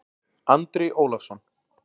Andri Ólafsson